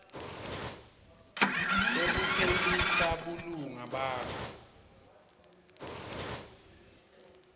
yekuphelisa bulunga bakho